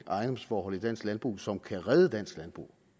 og ejendomsforhold i dansk landbrug som kan redde dansk landbrug